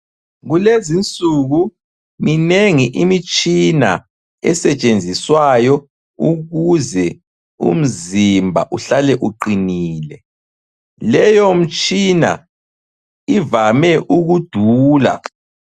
Kulezinsuku minengi imitshina esetshenziswayo ukuze umzimba uhlale uqinile. Leyo mtshina ivame ukudula.